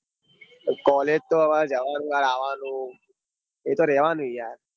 College તો હવાર જવાનું આવાનું એ તો રેવાનું યાર.